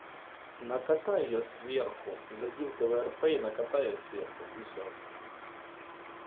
накатай её сверху зайти в тврп и накатай её сверху и все